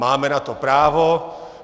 Máme na to právo.